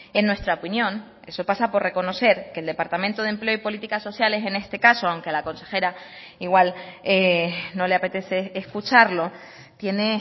en nuestra opinión eso pasa por reconocer que el departamento de empleo y políticas sociales en este caso aunque la consejera igual no le apetece escucharlo tiene